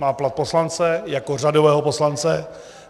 Má plat poslance jako řadového poslance.